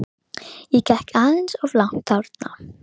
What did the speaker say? LÁRUS: Þér afhentuð bækurnar og fenguð kvittun.